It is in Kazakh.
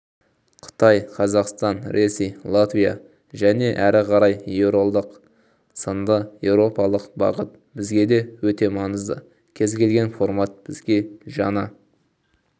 қытай-қазақстан-ресей-латвия және әрі қарай еуролдақ сынды еуропалық бағыт бізге өте маңызды кез келген формат бізге жаңа